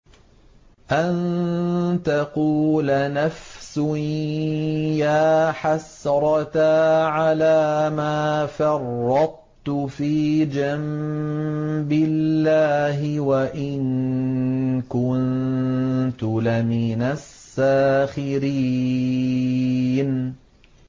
أَن تَقُولَ نَفْسٌ يَا حَسْرَتَا عَلَىٰ مَا فَرَّطتُ فِي جَنبِ اللَّهِ وَإِن كُنتُ لَمِنَ السَّاخِرِينَ